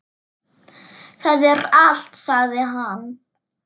Það er allt, sagði hann.